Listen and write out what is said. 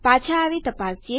પાછા આવી તપાસીએ